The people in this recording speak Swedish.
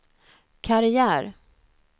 karriär